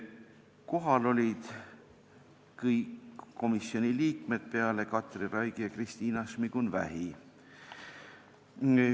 Kohal olid kõik komisjoni liikmed peale Katri Raigi ja Kristina Šmigun-Vähi.